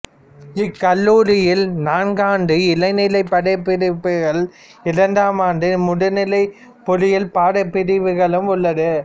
இக்கல்லூரியில் நான்காண்டு இளநிலை பாடப்பிரிவுகளும் இரண்டாண்டு முதுநிலை பொறியில் பாடப்பிரிவுகளும் உள்ளது